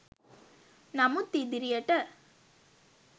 නමුත් ඉදිරියට